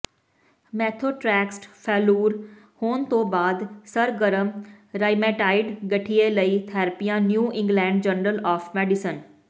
methotrexate failure ਹੋਣ ਤੋਂ ਬਾਅਦ ਸਰਗਰਮ ਰਾਇਮੇਟਾਇਡ ਗਠੀਏ ਲਈ ਥੈਰੇਪੀਆਂ New England Journal of medicine